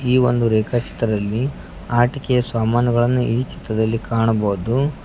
ಈ ಒಂದು ರೇಖಾ ಚಿತ್ರದಲ್ಲಿ ಆಟಿಕೆಯ ಸಾಮಾನುಗಳನ್ನು ಈ ಚಿತ್ರದಲ್ಲಿ ಕಾಣಬಹುದು.